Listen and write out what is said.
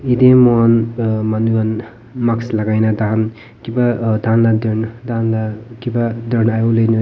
yatae mohan manu khan mask lakai na takhan kipa tahan la tahan la kipa .]